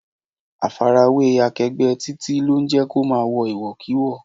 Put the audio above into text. Àfarawé akegbe Títí lo ń jẹ́ kó máa wo iwokiwo